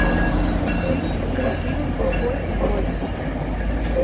фильм красивый плохой злой